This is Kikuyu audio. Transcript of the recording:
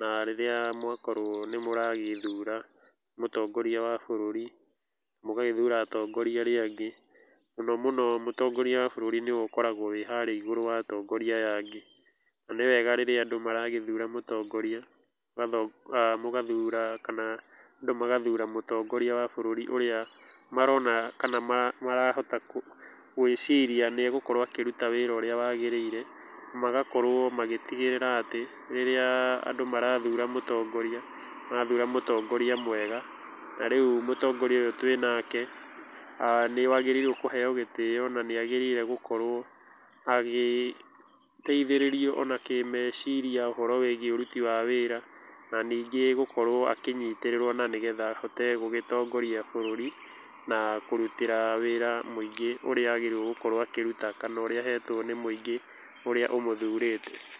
na rĩrĩa mwakworwo nĩ mũragĩthura mũtongoria wa bũrũri mũgagĩthura atongoria arĩ angĩ, mũno mũno mũtongoria wa bũrũri nĩwe ũkoragwo wĩharĩa igũrũ wa atongoria arĩa angĩ, na nĩwega rĩrĩa andũ maragĩthura mtongoria, mũgathura kana andũ magathura mũtongoria wa bũrũri ũrĩa marona kana marahota gwĩciria nĩ egũkorwo akĩruta wĩra ũrĩa wagĩrĩire, magakorwo magĩtigĩrĩra atĩ rĩrĩa andũ marathura mũtongoria, marathura mũtongoria mwega, ta rĩu mũtongoria ũyũ twĩnake aah nĩ agĩrĩire kũheo gĩtĩo na nĩ agĩrĩire gũkorwo agĩteithĩrĩrio ona kĩ meciria ũhoro wĩgie ũruti wa wĩra na ningĩ gũkorwo akĩnyitĩrĩrwo na nĩgetha ahote gũgĩtongoria bũrũri na kũrutĩra wĩra mũingĩ ũrĩa agĩrĩirwo gũkorwo akĩruta kana wĩra ũrĩa ahetwo nĩ mũingĩ ũrĩa ũmũthurĩte.